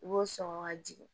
I b'o sɔn ka jigin